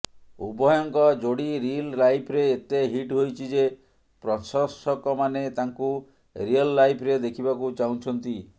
ଉଭୟଙ୍କ ଯୋଡ଼ି ରିଲ୍ ଲାଇଫ୍ରେ ଏତେ ହିଟ୍ ହୋଇଛି ଯେ ପ୍ରଶଂସକମାନେ ତାଙ୍କୁ ରିୟଲ୍ ଲାଇଫ୍ରେ ଦେଖିବାକୁ ଚାହୁଁଛନ୍ତି